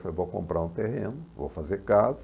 Falei, vou comprar um terreno, vou fazer casa.